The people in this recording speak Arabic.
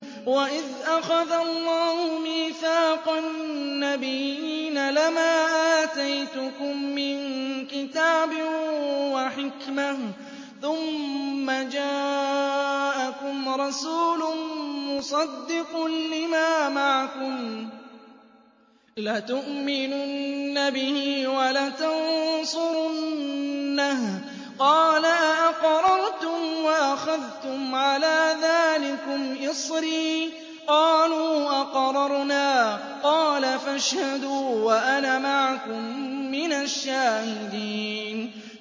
وَإِذْ أَخَذَ اللَّهُ مِيثَاقَ النَّبِيِّينَ لَمَا آتَيْتُكُم مِّن كِتَابٍ وَحِكْمَةٍ ثُمَّ جَاءَكُمْ رَسُولٌ مُّصَدِّقٌ لِّمَا مَعَكُمْ لَتُؤْمِنُنَّ بِهِ وَلَتَنصُرُنَّهُ ۚ قَالَ أَأَقْرَرْتُمْ وَأَخَذْتُمْ عَلَىٰ ذَٰلِكُمْ إِصْرِي ۖ قَالُوا أَقْرَرْنَا ۚ قَالَ فَاشْهَدُوا وَأَنَا مَعَكُم مِّنَ الشَّاهِدِينَ